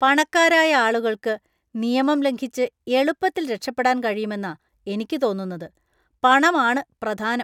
പണക്കാരായ ആളുകൾക്ക് നിയമം ലംഘിച്ച് എളുപ്പത്തിൽ രക്ഷപ്പെടാൻ കഴിയുമെന്നാ എനിക്ക് തോന്നുന്നുന്നത്. പണം ആണ് പ്രധാനം!